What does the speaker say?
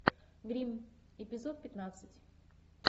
гримм эпизод пятнадцать